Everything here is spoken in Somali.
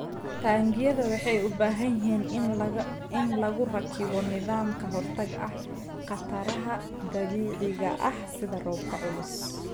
Taangiyada waxay u baahan yihiin in lagu rakibo nidaam ka hortag ah khataraha dabiiciga ah sida roobka culus.